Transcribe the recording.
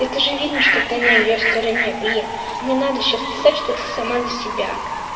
это же видно что ты на её стороне блин и не надо сейчас писать что ты сама за себя